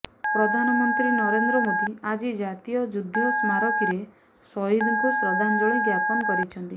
ପ୍ରଧାନମନ୍ତ୍ରୀ ନରେନ୍ଦ୍ର ମୋଦୀ ଆଜି ଜାତୀୟ ଯୁଦ୍ଧ ସ୍ମାରକୀରେ ସହିଦଙ୍କୁ ଶ୍ରଦ୍ଧାଞ୍ଜଳି ଜ୍ଞାପନ କରିଛନ୍ତି